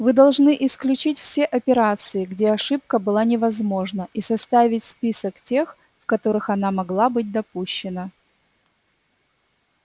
вы должны исключить все операции где ошибка была невозможна и составить список тех в которых она могла быть допущена